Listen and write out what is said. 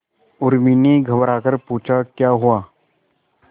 उर्मी ने घबराकर पूछा क्या हुआ